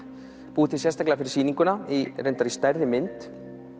búið til sérstaklega fyrir sýninguna reyndar í stærri mynd